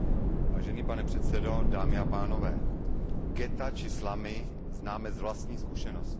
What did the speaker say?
Vážený pane předsedo, dámy a pánové, ghetta či slumy známe z vlastní zkušenosti.